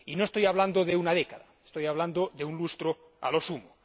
Y no estoy hablando de una década, estoy hablando de un lustro a lo sumo.